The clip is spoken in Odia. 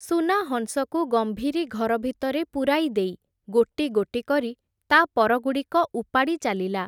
ସୁନାହଂସକୁ ଗମ୍ଭୀରି ଘର ଭିତରେ ପୁରାଇଦେଇ, ଗୋଟି ଗୋଟି କରି ତା’ପରଗୁଡ଼ିକ ଉପାଡ଼ି ଚାଲିଲା ।